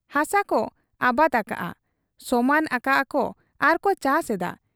ᱦᱟᱥᱟᱠᱚ ᱟᱵᱟᱫᱽ ᱟᱠᱟᱜ ᱟ ᱾ ᱥᱚᱢᱟᱱ ᱟᱠᱟᱜ ᱟ ᱟᱨᱠᱚ ᱪᱟᱥ ᱮᱫᱟ ᱾